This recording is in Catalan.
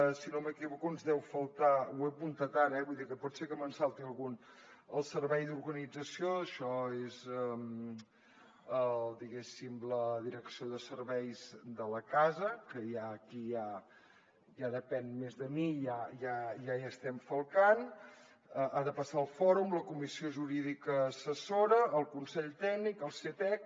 si no m’equivoco ens deu faltar ho he apuntat ara eh vull dir que pot ser que me’n salti algun el servei d’organització això és diguéssim la direcció de serveis de la casa que aquí ja depèn més de mi i ja hi estem falcant ha de passar el fòrum la comissió jurídica assessora el consell tècnic el ctesc